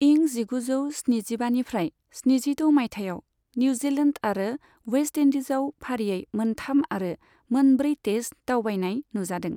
इं जिगुजौ स्निजिबानिफ्राय स्निजिद' माइथायाव निउजिलेन्द आरो वेस्त इन्दिजआव फारियै मोनथाम आरो मोनब्रै टेस्ट दावबायनाय नुजादों।